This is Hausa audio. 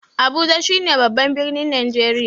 Abuja shi ne babban birnin Najreriya